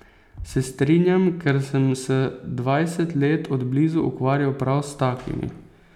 Se strinjam, ker sem se dvajset let od blizu ukvarjal prav s takimi.